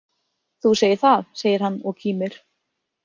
Þú segir það, segir hann og kímir.